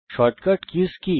shortcut কিস কি